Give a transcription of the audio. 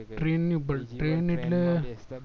train ની ઉપર train એટલે